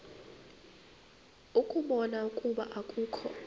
ukubona ukuba akukho